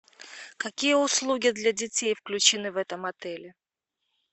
какие услуги для детей включены в этом отеле